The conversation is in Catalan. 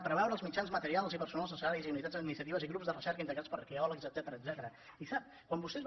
preveure els mitjans materials i personals necessaris i unitats administratives i grups de recerca integrats per arqueòlegs etcètera